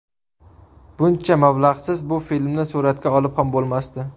Buncha mablag‘siz bu filmni suratga olib ham bo‘lmasdi.